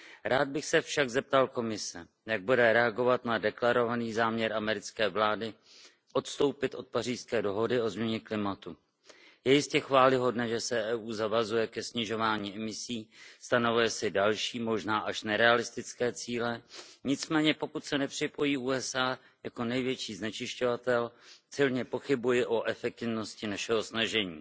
Rád bych se však zeptal Komise, jak bude reagovat na deklarovaný záměr americké vlády odstoupit od Pařížské dohody o změně klimatu. Je jistě chvályhodné, že se EU zavazuje ke snižování emisí, stanovuje si další, možná až nerealistické cíle, nicméně pokud se nepřipojí USA jako největší znečišťovatel, silně pochybuji o efektivnosti našeho snažení.